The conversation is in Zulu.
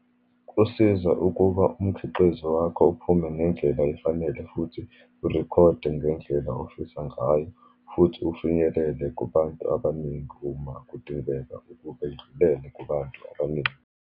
Kusiza ukuba umkhiqizo wakho uphume ngendlela efanele, futhi urikhode ngendlela ofisa ngayo, futhi ufinyelele kubantu abaningi uma kudingeka ukube indlulele kubantu abaningi.